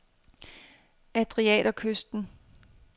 Adriaterkysten